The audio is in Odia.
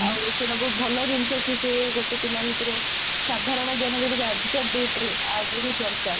ଆଉ ସେଇଟା ବହୁତ ଭଲ ଜିନିଷ କି ସେ ଗୋଟେ ପିଲା ଭିତରେ ସାଧାରଣ ଜ୍ଞାନ ଯୋଉଟା କି ଆଜିକା date ରେ ଆଗକୁ ଦରକାର